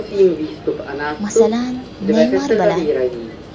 Masalan, Neymar bilan.